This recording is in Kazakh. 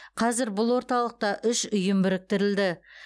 қазір бұл орталықта үш ұйым біріктірілді